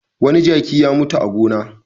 Wani jaki ya mutu a gona.